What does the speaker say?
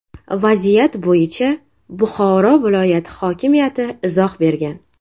Vaziyat bo‘yicha Buxoro viloyati hokimiyati izoh bergan .